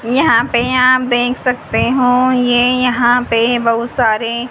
यहां पे आप देख सकते हो ये यहां पे बहोत सारे--